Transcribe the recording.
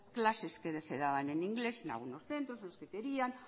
clases que se daban en inglés en algunos centros los que querían